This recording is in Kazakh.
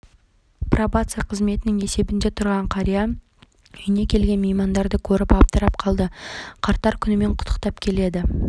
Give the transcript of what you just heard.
зейнеткер ұзақ жылдар бойы жүргізуші болып еңбек етіпті жасы келген шақта жолынан жаңылып қиындыққа тап болған